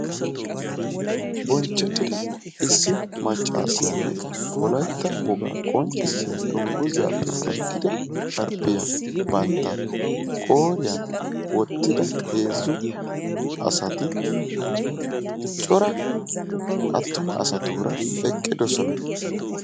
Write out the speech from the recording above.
Bonchchettida issi maccaasiyanne wolaytta wogaa qonccissiya dungguzaappe giigida sharbbiya bantta qooriyan wottida heezzu asati cora attuma asatuura eqqidosona.